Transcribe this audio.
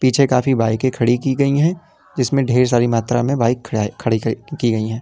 पीछे काफी बाइके की खाड़ी की गई हैं जिसमें ढेर सारी मात्रा में बाइक खड़ा खड़ी की गई हैं।